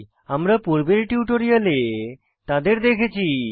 আমরা পূর্বের টিউটোরিয়ালে তাদের দেখেছি